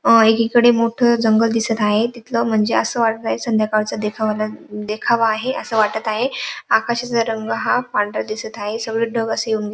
एकीकडे एक मोठ जंगल दिसत आहे तिथल म्हणजे अस वाटत आहे संध्याकाळचा देखावा देखावा आहे अस वाटत आहे आकाशाचा रंग हा पांढरा दिसत आहे सगळे ढग असे येऊन --